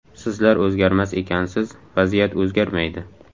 Sizlar o‘zgarmas ekansiz, vaziyat o‘zgarmaydi.